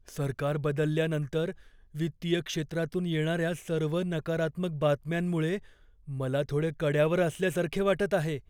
सरकार बदलल्यानंतर वित्तीय क्षेत्रातून येणाऱ्या सर्व नकारात्मक बातम्यांमुळे मला थोडे कड्यावर असल्यासारखे वाटत आहे.